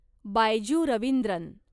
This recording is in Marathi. बायजू रवींद्रन